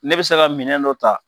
Ne bɛ se ka minɛn dɔ ta